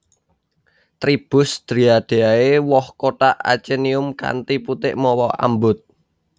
Tribus Dryadeae Woh kothak achenium kanthi putik mawa ambut